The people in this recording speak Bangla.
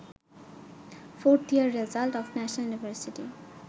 4th year result of national university